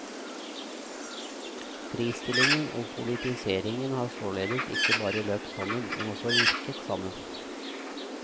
Fristillingen og politiseringen har således ikke bare løpt sammen, men også virket sammen.